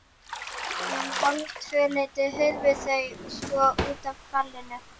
Um hálftvöleytið hurfu þau svo út af ballinu.